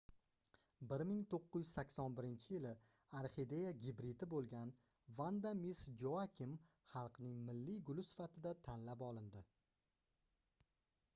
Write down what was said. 1981-yili orxideya gibridi boʻlgan vanda miss joakim xalqning milliy guli sifatida tanlab olindi